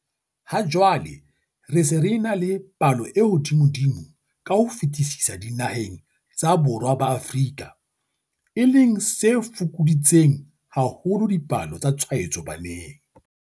Ha jwale re se re ena le palo e hodimodimo ka ho fetisisa dinaheng tsa Borwa ba Afrika, e leng se fokoditseng haholo dipalo tsa tshwaetso baneng.